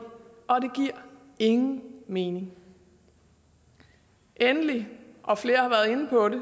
og det giver ingen mening endelig og flere har været inde på det